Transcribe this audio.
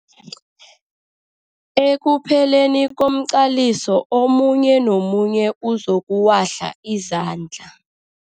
Ekupheleni komqaliso omunye nomunye uzokuwahla izandla.